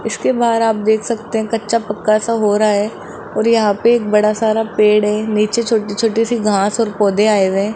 इसके बाहर आप देख सकते है कच्चा पक्का सा हो रहा है और यहां पे एक बड़ा सारा पेड़ है नीचे छोटी छोटी सी घास और पौधे आए हुए है।